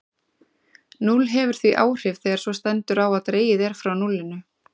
Núll hefur því áhrif þegar svo stendur á að dregið er frá núllinu.